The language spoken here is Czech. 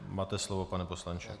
Máte slovo, pane poslanče.